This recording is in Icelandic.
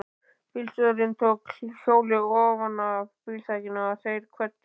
Bílstjórinn tók hjólið ofanaf bílþakinu og þeir kvöddust.